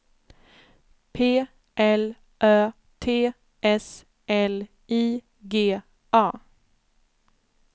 P L Ö T S L I G A